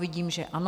Vidím, že ano.